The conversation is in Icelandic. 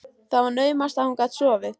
Það var naumast að hún gat sofið.